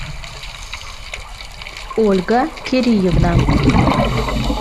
ольга кириевна